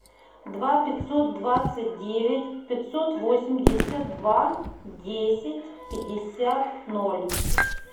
два пятьсот двадцать девять пятьсот восемьдесят два десять пятьдесят ноль